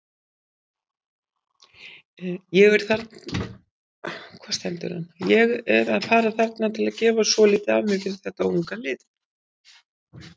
Ég er að fara þarna til að gefa svolítið af mér fyrir þetta unga lið.